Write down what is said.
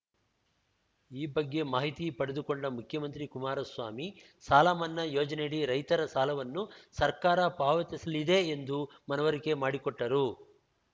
ಈ ಬಗ್ಗೆ ಮಾಹಿತಿ ಪಡೆದುಕೊಂಡ ಮುಖ್ಯಮಂತ್ರಿ ಕುಮಾರಸ್ವಾಮಿ ಸಾಲಮನ್ನಾ ಯೋಜನೆಯಡಿ ರೈತರ ಸಾಲವನ್ನು ಸರ್ಕಾರ ಪಾವತಿಸಲಿದೆ ಎಂದು ಮನವರಿಕೆ ಮಾಡಿಕೊಟ್ಟರು